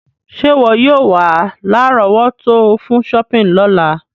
Sé wọ yio wa lárọ̀wọ́tó fun shopping lọ́la